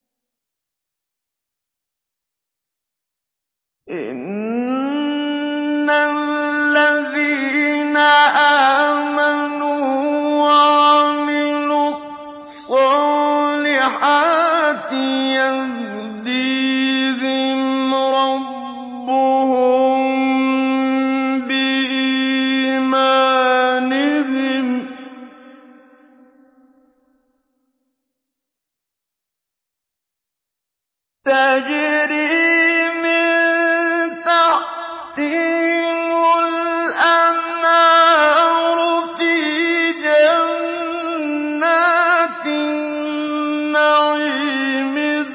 إِنَّ الَّذِينَ آمَنُوا وَعَمِلُوا الصَّالِحَاتِ يَهْدِيهِمْ رَبُّهُم بِإِيمَانِهِمْ ۖ تَجْرِي مِن تَحْتِهِمُ الْأَنْهَارُ فِي جَنَّاتِ النَّعِيمِ